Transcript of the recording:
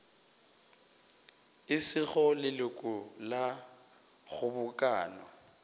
e sego leloko la kgobokano